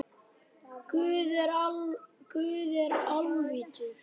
Guð er alvitur